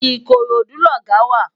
Ikorodu lògá wá